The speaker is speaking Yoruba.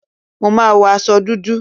Mo má wo aṣọ dúdú.